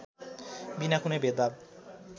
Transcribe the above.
विना कुनै भेदभाव